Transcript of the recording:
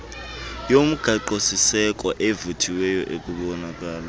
yomgaqosiseko evuthiweyo ekubonakala